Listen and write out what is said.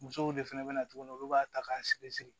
Musow de fana bɛ na tuguni olu b'a ta k'a sigi